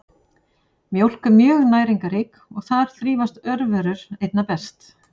Mjólk er mjög næringarrík og þar þrífast örverur einna best.